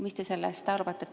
Mis te sellest arvate?